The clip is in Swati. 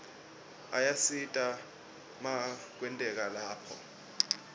ayasita makwetekwe lapha